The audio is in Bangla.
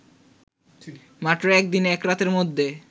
মাত্র একদিন একরাতের মধ্যে